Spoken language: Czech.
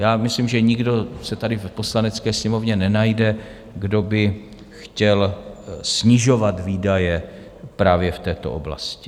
Já myslím, že nikdo se tady v Poslanecké sněmovně nenajde, kdo by chtěl snižovat výdaje právě v této oblasti.